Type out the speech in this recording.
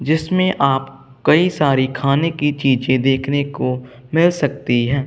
जिसमें आप कई सारी खाने की चीजें देखने को मिल सकती हैं।